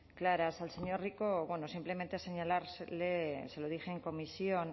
claras al señor rico simplemente señalarle se lo dije en comisión